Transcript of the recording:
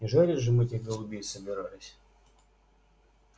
не жарить же мы этих голубей собирались